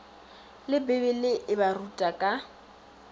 le bibele e baruta ka